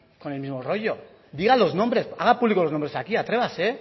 con el mismo rollo diga los nombres haga públicos los nombres aquí atrévase